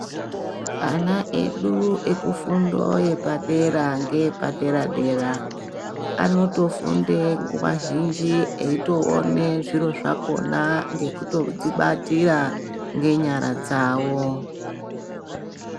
Ana edu ekufundo yepadera ngeyepadera-dera. Anotofunde nguwa zhinji eitoona zviro zvakhona ngekutozvibatira ngenyara dzawo.